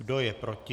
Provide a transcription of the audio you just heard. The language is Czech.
Kdo je proti?